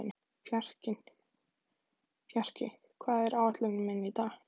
Fjarki, hvað er á áætluninni minni í dag?